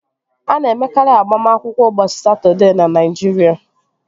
A na-emekarị agbamakwụkwọ ụbọchị Satọdee na Naịjirịa